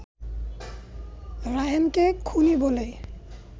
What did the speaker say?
রায়হানকেই খুনি বলে